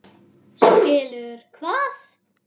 Skilur hvað?